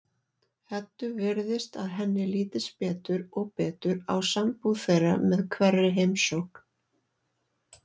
Eddu virðist að henni lítist betur og betur á sambúð þeirra með hverri heimsókn.